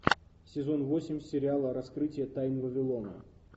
сезон восемь сериала раскрытие тайн вавилона